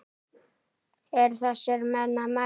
Eru þessir menn að mæta?